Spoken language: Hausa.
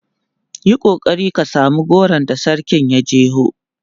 Yi kokari ka samu goron da sarkin ya jeho!